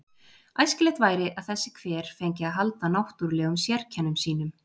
Æskilegt væri að þessi hver fengi að halda náttúrlegum sérkennum sínum.